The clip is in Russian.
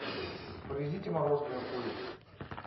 привезите мороженую курицу